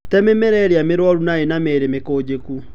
Te mĩmera ĩrĩa mĩrwaru na ĩnamĩri mĩkũnjiku.